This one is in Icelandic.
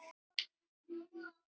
Það nægði henni að mestu.